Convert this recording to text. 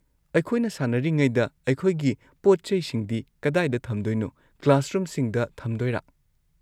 ꯑꯩꯈꯣꯏꯅ ꯁꯥꯅꯔꯤꯉꯩꯗ ꯑꯩꯈꯣꯏꯒꯤ ꯄꯣꯠ-ꯆꯩꯁꯤꯡꯗꯤ ꯀꯗꯥꯏꯗ ꯊꯝꯒꯗꯣꯏꯅꯣ, ꯀ꯭ꯂꯥꯁꯔꯨꯝꯁꯤꯡꯗ ꯊꯝꯗꯣꯏꯅꯣ?